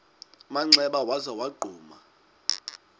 manxeba waza wagquma